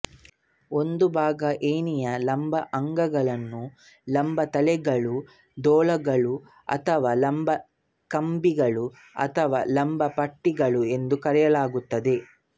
ಒಂದು ಬಾಗದ ಏಣಿಯ ಲಂಬ ಅಂಗಗಳನ್ನು ಲಂಬತೊಲೆಗಳುದೂಲಗಳು ಅಥವಾ ಲಂಬಕಂಬಿಗಳು ಅಥವಾ ಲಂಬಪಟ್ಟಿಗಳು ಎಂದು ಕರೆಯಲಾಗುತ್ತದೆ